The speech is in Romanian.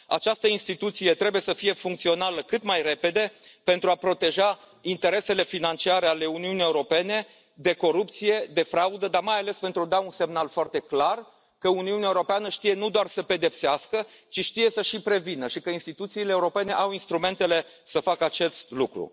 Această instituție trebuie să fie funcțională cât mai repede pentru a proteja interesele financiare ale Uniunii Europene de corupție, de fraudă, dar, mai ales, pentru a da un semnal foarte clar că Uniunea Europeană știe nu doar să pedepsească, ci știe și să prevină și că instituțiile europene au instrumentele să facă acest lucru.